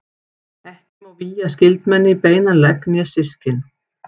Ekki má vígja skyldmenni í beinan legg né systkin.